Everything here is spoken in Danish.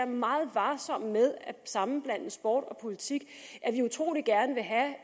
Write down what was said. meget varsomme med at sammenblande sport og politik